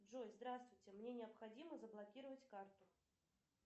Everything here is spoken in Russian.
джой здравствуйте мне необходимо заблокировать карту